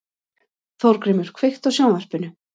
Þórgrímur, kveiktu á sjónvarpinu.